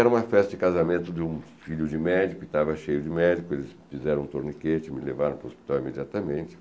Era uma festa de casamento de um filho de médico, estava cheio de médico, eles fizeram um tourniquete, me levaram para o hospital imediatamente.